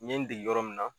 N ye n dege yɔrɔ min na